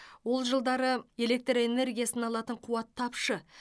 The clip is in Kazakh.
ол жылдары электр энергиясын алатын қуат тапшы